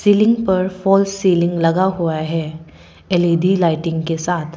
Ceiling पर fall ceiling लगा हुआ है एल_इ_डी लाइटिंग के साथ।